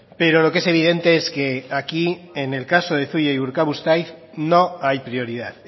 pero lo que es evidente es que aquí en el caso de zuia urkabustaiz no hay prioridad